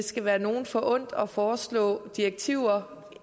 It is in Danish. skal være nogen forundt at foreslå direktiver